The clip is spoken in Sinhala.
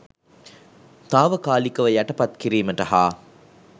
තාවකාලිකව යටපත් කිරීමට හා